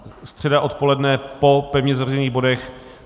Středa odpoledne po pevně zařazených bodech.